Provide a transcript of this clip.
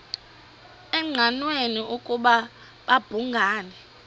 engqanweni ukuba babhungani